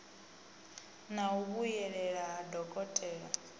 na u vhuyelela ha dokotela